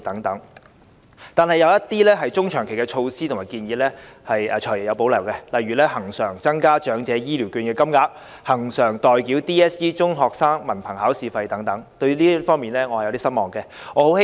可是，對於一些中長期措施和建議，例如我們要求恆常增加長者醫療券金額、恆常代繳 DSE 費用等，"財爺"則表示有所保留，令我感到有些失望。